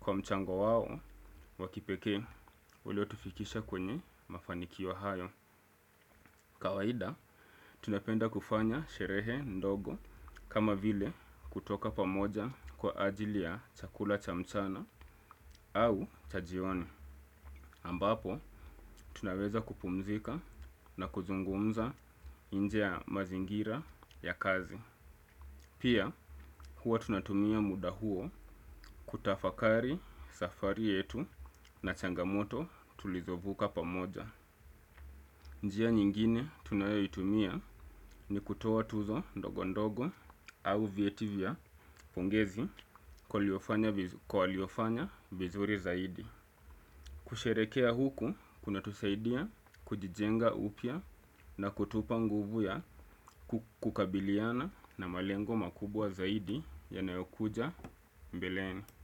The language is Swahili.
kwa mchango wao wakipekee ulio tufikisha kwenye mafanikio hayo. Kawaida, tunapenda kufanya sherehe ndogo kama vile kutoka pamoja kwa ajili ya chakula chamchana au chajioni. Ambapo, tunaweza kupumzika na kuzungumza inje ya mazingira ya kazi. Pia, huwa tunatumia muda huo kutafakari safari yetu na changamoto tulizovuka pamoja. Njia nyingine tunayoitumia ni kutoa tuzo ndogondogo au vietivya pongezi kwa waliofanya vizuri zaidi. Kusherekea huku kuna tusaidia kujijenga upya na kutupa nguvu ya kukabiliana na malengo makubwa zaidi ya nayokuja mbelene.